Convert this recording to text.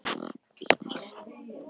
Í næstu ferð voru nokkur sæti laus.